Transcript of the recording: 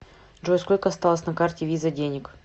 джой сколько осталось на карте виза денег